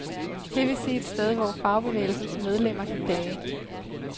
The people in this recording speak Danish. Det vil sige et sted, hvor fagbevægelsens medlemmer kan klage?